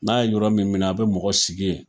N'a ye yɔrɔ min minɛ, a bɛ mɔgɔ sigi yen.